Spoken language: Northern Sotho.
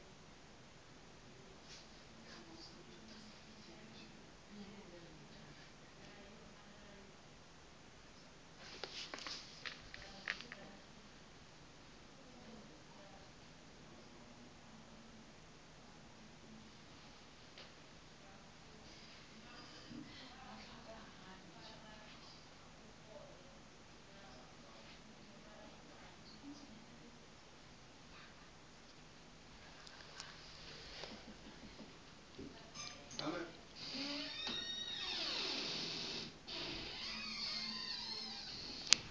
batho ka moka ba ba